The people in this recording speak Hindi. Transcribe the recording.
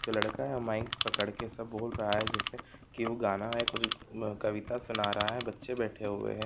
जो लड़का है माइक पकड़कर सबको बोल रहा है जिसमे गाना या कुछ कविता सुना रहा है बच्चे बैठे हुए है|